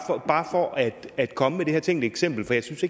for at at komme med det her tænkte eksempel for jeg synes